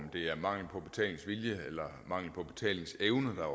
det er mangel på betalingsvilje eller mangel på betalingsevne der